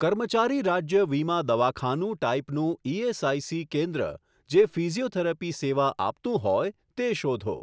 કર્મચારી રાજ્ય વીમા દવાખાનું ટાઈપનું ઇએસઆઇસી કેન્દ્ર જે ફિઝીયોથેરપી સેવા આપતું હોય તે શોધો.